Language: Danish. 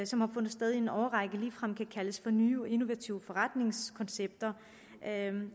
som har fundet sted i en årrække ligefrem kan kaldes for nye og innovative forretningskoncepter